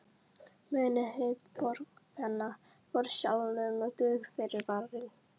Munið hið fornkveðna: Forsjálum dugir fyrirvarinn.